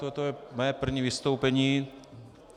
Toto je mé první vystoupení.